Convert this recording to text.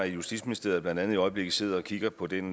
i justitsministeriet blandt andet i øjeblikket sidder og kigger på den